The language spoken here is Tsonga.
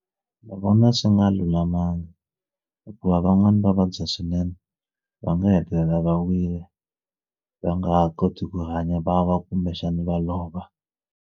Ndzi vona swi nga lulamanga hikuva van'wani va vabya swinene va nga hetelela va wile va nga ha koti ku hanya va wa kumbexana va lova.